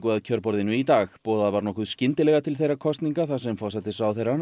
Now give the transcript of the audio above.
að kjörborðinu í dag boðað var nokkuð skyndilega til þeirra kosninga þar sem forsætisráðherrann